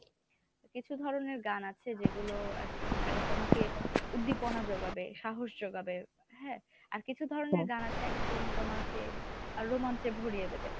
কিছু ধরনের গান আছে যেগুলো আরকি তোমাকে উদ্দীপনা যোগাবে সাহস যোগাবে হ্যাঁ আর কিছু ধরনের গান আছে একদম তোমাকে আহে রোমাঞ্চে ভরিয়ে দেবে।